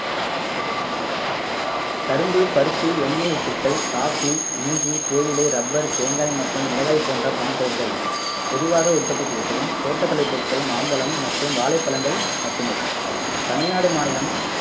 கரும்பு பருத்தி எண்ணெய் வித்துக்கள் காபி இஞ்சி தேயிலை ரப்பர் தேங்காய் மற்றும் மிளகாய் போன்ற பணப்பயிர்கள் பொதுவாக உற்பத்தி செய்யப்படும் தோட்டக்கலை பொருள்கள் மாம்பழம் மற்றும் வாழைப்பழங்கள் மட்டுமே தமிழ்நாடு மாநிலம்